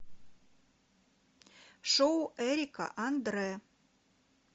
шоу эрика андре